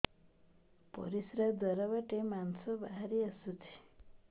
ପରିଶ୍ରା ଦ୍ୱାର ବାଟେ ମାଂସ ବାହାରି ଆସୁଛି